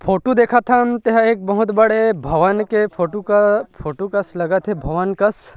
photo देखत हन ते ह एक बहुत बड़े भवन के फोटु क फोटु कस लगत हे भवन कस--